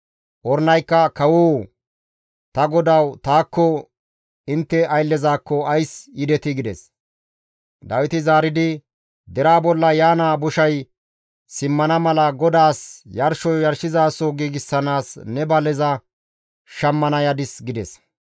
Ornaykka, «Kawoo! Ta godawu taakko intte ayllezakko ays yidetii?» gides. Dawiti zaaridi, «Deraa bolla yaana boshay simmana mala GODAAS yarsho yarshizaso giigsanaas ne baleza shammana yadis» gides.